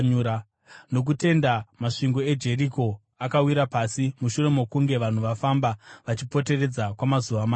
Nokutenda masvingo eJeriko akawira pasi, mushure mokunge vanhu vafamba vachiapoteredza kwamazuva manomwe.